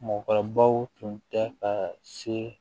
Mɔgɔkɔrɔbaw tun tɛ ka se